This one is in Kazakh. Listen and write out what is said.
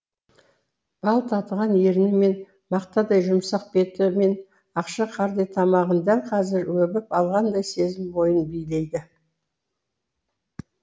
бал татыған ерні мен мақтадай жұмсақ беті мен ақша қардай тамағын дәл қазір өбіп алғандай сезім бойын билейді